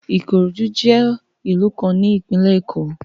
Ikorodu jẹ ilu kan ni Ipinle Eko